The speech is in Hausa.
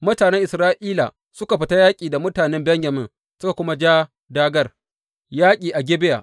Mutanen Isra’ila suka fita yaƙi da mutane Benyamin suka kuma ja dāgār yaƙi a Gibeya.